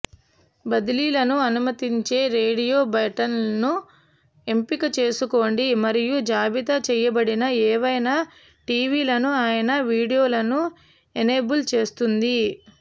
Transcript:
బదిలీలను అనుమతించే రేడియో బటన్లను ఎంపిక చేసుకోండి మరియు జాబితా చేయబడిన ఏవైనా టివిలను అయినా వీడియోలను ఎనేబుల్ చేస్తుంది